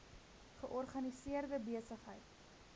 georganiseerde besig heid